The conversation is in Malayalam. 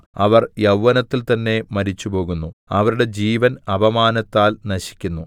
അവർ യൗവനത്തിൽ തന്നെ മരിച്ചു പോകുന്നു അവരുടെ ജീവൻ അപമാനത്താൽ നശിക്കുന്നു